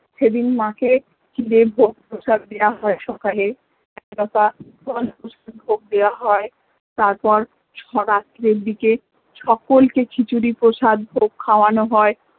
সেদিন মা কে ক্ষীরের ভোগ প্রসাদ দেয়া হয় সকালে এক কথা ফল মিষ্টি ভোগ দেয়া হয় তারপর সব আত্মীয়র দিকে সকলকে খিচুড়ি প্রসাদ ভোগ খাওয়ানো হয়